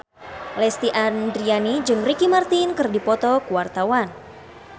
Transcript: Lesti Andryani jeung Ricky Martin keur dipoto ku wartawan